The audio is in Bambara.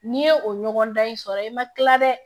N'i ye o ɲɔgɔndan in sɔrɔ ye i ma kila dɛ